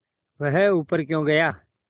वह ऊपर क्यों गया